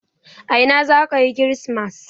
A ina za ka yi kirismas?